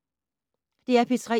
DR P3